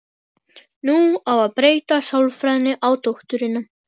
Nú á að beita sálfræðinni á dótturina.